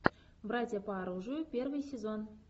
братья по оружию первый сезон